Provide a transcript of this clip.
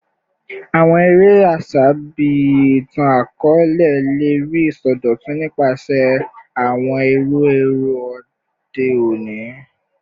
Awọn ere aṣa bii itan-akọọlẹ le rii isọdọtun nipasẹ awọn iru ẹrọ ode oni